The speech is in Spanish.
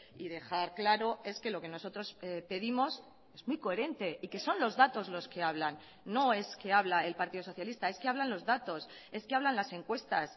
y dejar claro es que lo que nosotros pedimos es muy coherente y que son los datos los que hablan no es que habla el partido socialista es que hablan los datos es que hablan las encuestas